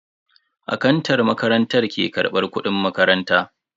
Akantan makarantar ke karbar kudin makaranta.